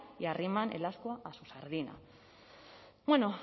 y arriman el ascua a su sardina